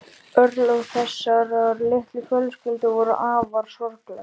Örlög þessarar litlu fjölskyldu voru afar sorgleg.